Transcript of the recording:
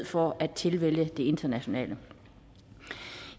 for at tilvælge det internationale